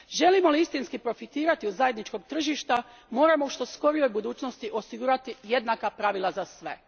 Želimo li istinski profitirati od zajedničkog tržišta moramo u što skorijoj budućnosti osigurati jednaka pravila za sve.